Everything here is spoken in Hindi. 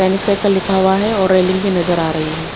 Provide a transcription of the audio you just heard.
पेनिक साइकल लिखा हुआ है और उपर रेलिंग भी नजर आ रही है।